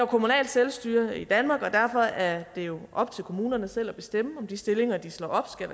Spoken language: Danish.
kommunalt selvstyre i danmark og derfor er det jo op til kommunerne selv at bestemme om de stillinger de slår op skal